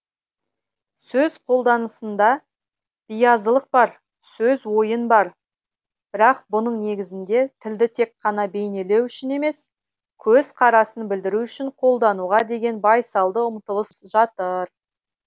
сөз қолданысында биязылық бар сөз ойын бар бірақ бұның негізінде тілді тек қана бейнелеу үшін емес көзқарасын білдіру үшін қолдануға деген байсалды ұмтылыс жатыр